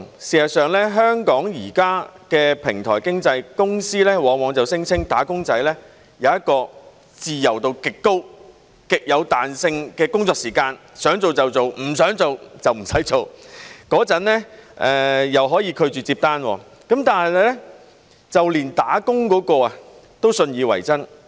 事實上，香港現時的平台經濟公司往往聲稱"打工仔"有一個自由度極高、極有彈性的工作時間，想做就做，不想做就不用做，又可以拒絕接單，就連"打工"那位都信以為真。